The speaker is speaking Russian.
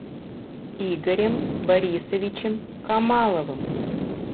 игорем борисовичем камаловым